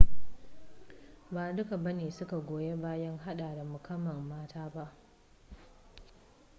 ba duka bane suka goyi bayan hada da mukamman mata ba